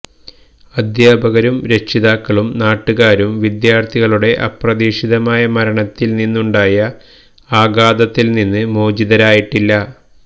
അധ്യാപകരും രക്ഷിതാക്കളും നാട്ടുകാരും വിദ്യാര്ഥികളുടെ അപ്രതീക്ഷിത മരണത്തില് നിന്നുണ്ടായ ആഘാതത്തില് നിന്ന് മോചിതരായിട്ടില്ല